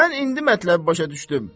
Mən indi mətləbi başa düşdüm.